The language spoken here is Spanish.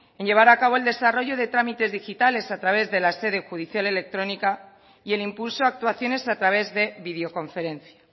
en llevar a cabo el desarrollo de trámites digitales a través de la sede judicial electrónica y el impulso a actuaciones a través de videoconferencia